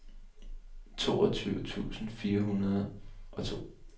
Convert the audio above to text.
toogtyve tusind fire hundrede og to